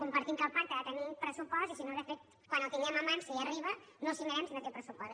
compartim que el pacte ha de tenir pressupost i si no de fet quan el tinguem a mans si arriba no el signarem si no té pressupost